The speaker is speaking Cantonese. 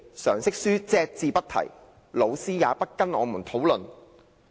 常識書隻字不提，老師也不跟我們討論。